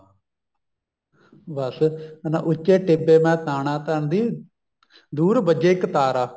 ਬੱਸ ਕਹਿੰਦਾ ਉੱਚੇ ਟਿੱਬੇ ਮੈਂ ਤਾਨਾ ਤਣਦੀ ਦੂਰ ਵੱਜੇ ਇੱਕ ਤਾਰਾ